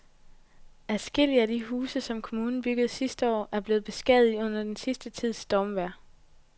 Adskillige af de huse, som kommunen byggede sidste år, er blevet beskadiget under den sidste tids stormvejr.